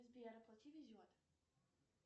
сбер оплати везет